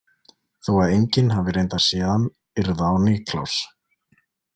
Þó að enginn hafi reyndar séð hann yrða á Niklas.